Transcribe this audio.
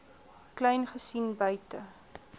kleyn gesien buite